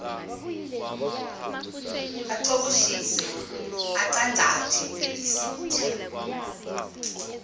acoboshise acangcathe isitha